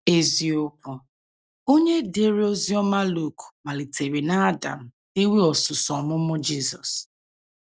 Eziokwu: Onye dere Oziọma Luk malitere n’Adam dewe osuso ọmụmụ Jizọs.